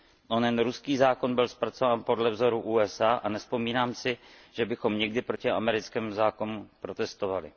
Onen ruský zákon byl zpracován podle vzoru USA a nevzpomínám si, že bychom někdy proti americkému zákonu protestovali.